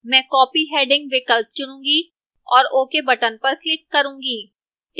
मैं copy heading विकल्प चुनूंगी और ok button पर click करूंगी